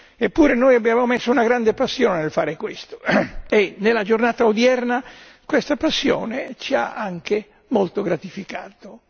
Eppure noi abbiamo messo una grande passione nel fare questo e nella giornata odierna questa passione ci ha anche molto gratificato.